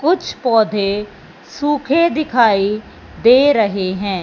कुछ पौधे सुखे दिखाई दे रहे हैं।